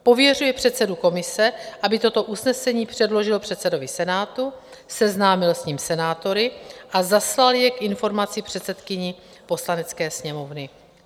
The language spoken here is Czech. pověřuje předsedu komise, aby toto usnesení předložil předsedovi Senátu, seznámil s ním senátory a zaslal jej k informaci předsedkyni Poslanecké sněmovny.